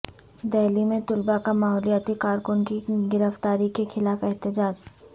دہلی میں طلبہ کا ماحولیاتی کارکن کی گرفتاری کے خلاف احتجاج